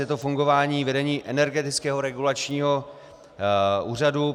Je to fungování vedení Energetického regulačního úřadu.